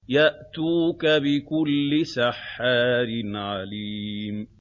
يَأْتُوكَ بِكُلِّ سَحَّارٍ عَلِيمٍ